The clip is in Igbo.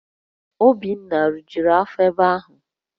Obinna rijuru afọ ebe ahu